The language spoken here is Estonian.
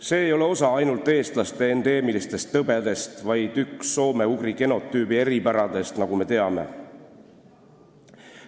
See ei ole osa ainult eestlaste endeemilistest tõbedest, vaid üks soome-ugri genotüübi eripäradest, nagu me teame.